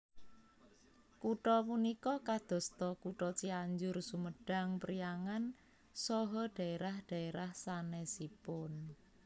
Kutha punika kadosta kutha Cianjur Sumedang Priangan saha dhaerah dhaerah sanesipun